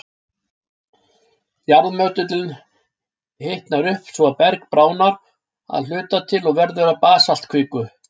Jarðmöttullinn hitnar upp, svo að berg bráðnar að hluta til og verður að basaltkviku.